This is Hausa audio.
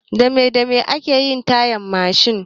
Dame dame ake yin tayan Mashin?